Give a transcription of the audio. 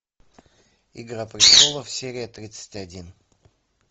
игра престолов серия тридцать один